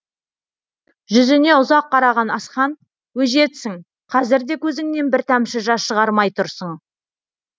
жүзіне ұзақ қараған асхан өжетсің қазір де көзіңнен бір тамшы жас шығармай тұрсын